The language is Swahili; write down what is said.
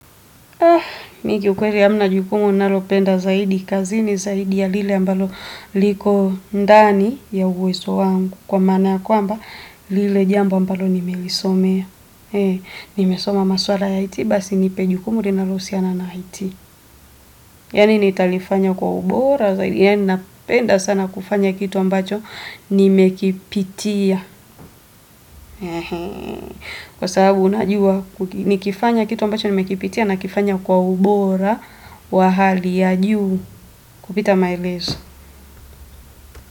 Mi kiukweli hamna jukumu ninalopenda zaidi kazi ni zaidi ya lile ambalo liko ndani ya uwezo wangu kwa maana ya kwamba lile jambo ambalo nimelisomea. Nimesoma maswala ya IT basi nipe jukumu linalo husiana na IT. Yani nitalifanya kwa ubora zaidi yani ninapenda sana kufanya kitu ambacho nimekipitia. Kwa sababu najua nikifanya kitu ambacho nimekipitia nakifanya kwa ubora wa hali ya juu kupita maelezo.